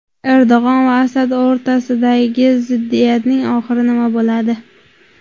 Erdo‘g‘on va Asad o‘rtasidagi ziddiyatning oxiri nima bo‘ladi?.